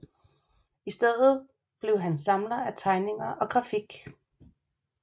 I stedet blev han samler af tegninger og grafik